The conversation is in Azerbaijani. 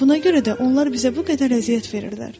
Buna görə də onlar bizə bu qədər əziyyət verirlər.